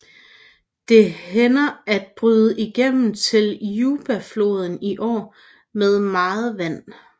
Det hænder at bryder igennem til Jubafloden i år med meget vand